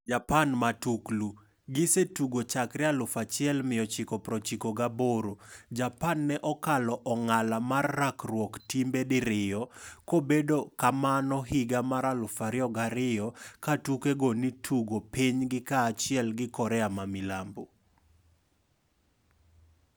Japan Matuklu: Gisetugo chakre 1998, Japan ne okalo ong'ala mar rakruok timbe diriyo, kobedo kamano higa mar 2002 katuke go ni tugo pinygi kaachiel gi Korea ma milambo.